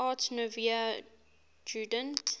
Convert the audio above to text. art nouveau jugend